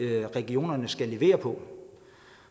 er regionerne skal levere på